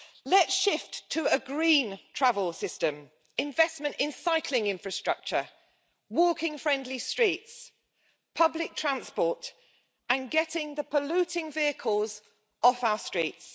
Let's shift to a green travel system, investment in cycling infrastructure, walking friendly streets, public transport and getting the polluting vehicles off our streets.